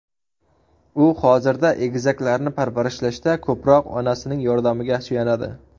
U hozirda egizaklarni parvarishlashda ko‘proq onasining yordamiga suyanadi.